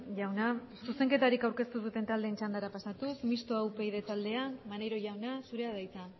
jauna zuzenketarik aurkeztu duten taldeen txandara pasatuz mistoa upyd taldea maneiro jauna zurea da hitza